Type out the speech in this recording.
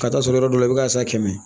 Ka taa sɔrɔ yɔrɔ dɔ la i bɛ ka san kɛmɛ